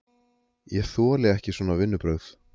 Ég þoli ekki svona vinnubrögð!